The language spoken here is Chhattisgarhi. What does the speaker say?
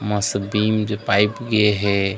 मसबीम के पाइप गे हे।